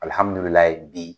bi